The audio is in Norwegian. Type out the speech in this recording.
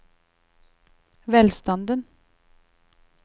velstanden